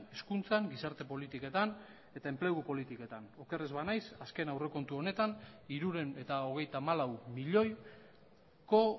hezkuntzan gizarte politiketan eta enplegu politiketan oker ez banaiz azken aurrekontu honetan hirurehun eta hogeita hamalau milioiko